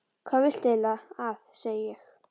Hvað viltu eiginlega að ég segi?